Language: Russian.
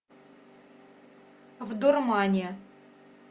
в дурмане